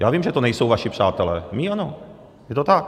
Já vím, že to nejsou vaši přátelé, mí ano, je to tak.